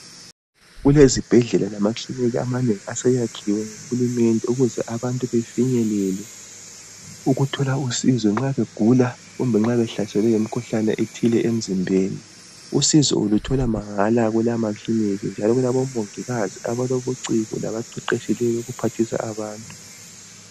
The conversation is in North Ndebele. Kulezibhedlela lamakilinika amanengi aseyakhiwe nguHulumende ukuze abantu befinyelele ukuthola usizo nxa begula kumbe nxa behlaselwe yimikhuhlane ethile emzimbeni. Usizo uluthola mahala kulamakilinika njalo kulabomongikazi abalobuciko labaqeqetshileyo ukuphathisa abantu.